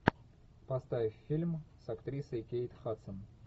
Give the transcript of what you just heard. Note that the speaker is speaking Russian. поставь фильм с актрисой кейт хадсон